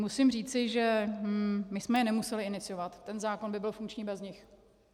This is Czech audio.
Musím říci, že my jsme je nemuseli iniciovat, ten zákon by byl funkční bez nich.